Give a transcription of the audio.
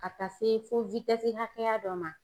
Ka taa se fo hakɛya dɔ ma.